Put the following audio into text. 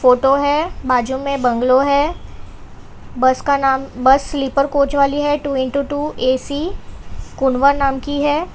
Photo है बाजू में बंग्लो है बस का नाम बस स्लीपर कोच वाली है टू इंटू टू ऐ_सी कुंडवा नाम की है।